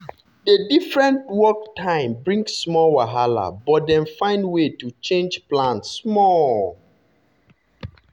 the different work time bring small wahala but dem find way to change plan small.